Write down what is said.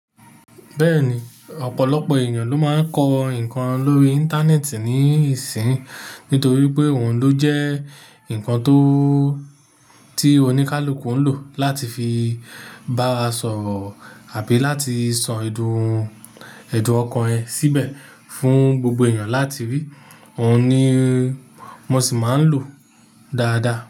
Bẹ́ẹ̀ni, ọ̀pọ̀lọpọ̀ èèyàn ló máa ń kọ nkan lórí Íńtánẹ́ẹ̀tì ní ìsín, nítorí pé òun ló jẹ́ ǹkan tó, tí oníkálukú ń lò láti fi bá wa sọ̀rọ̀ àbí láti so èdùn, èdùn ọkàn ẹ síbẹ̀ fún gbogbo èèyàn láti rí. Òun ni mo sì máa ń lò dáadáa.